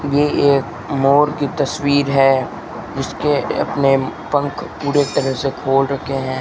ये एक मोर की तस्वीर है जिसके अपने पंख पूरे तरह से खोल रखे है।